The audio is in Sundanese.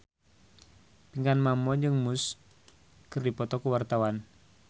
Pinkan Mambo jeung Muse keur dipoto ku wartawan